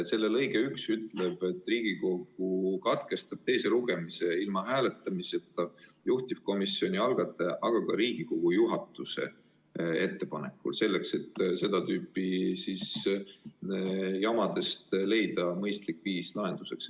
Selle lõige 1 ütleb, et Riigikogu katkestab teise lugemise ilma hääletamiseta juhtivkomisjoni, eelnõu algataja või Riigikogu juhatuse ettepanekul – seda selleks, et seda tüüpi jamade korral leida mõistlik lahendus.